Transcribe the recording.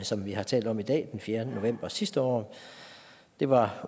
som vi har talt om i dag den fjerde november sidste år det var